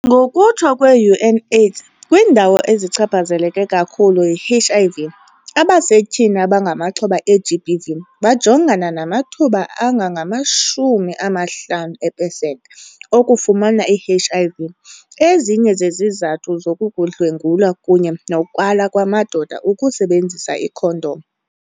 Ngokutsho kwe-UNAIDS, kwiindawo ezichaphazeleke kakhulu yi-HIV, abasetyhini abangamaxhoba e-GBV bajongana namathuba angangama-50 epesenti okufumana i-HIV. Ezinye zezizathu zoku kukudlwengulwa kunye nokwala kwamadoda ukusebenzisa iikhondom.